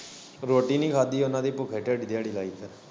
ਰੋਟੀ ਨੀ ਖਾਂਦੀ ਉਨਾਂ ਦੀ ਭੁੱਖੇ ਢਿੱਡ ਦਿਆੜੀ ਲਾਈ ਫੇਰ।